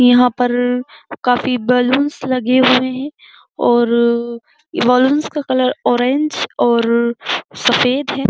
यहाँ पर काफी बलून्स लगे हुए हैं और बलून्स का कलर ऑरेंज और सफ़ेद है।